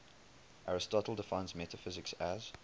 aristotle defines metaphysics as